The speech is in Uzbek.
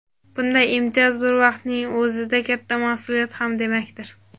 bunday imtiyoz bir vaqtning o‘zida katta mas’uliyat ham demakdir.